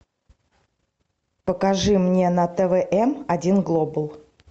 покажи мне на тв эм один глобал